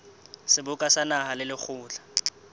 seboka sa naha le lekgotla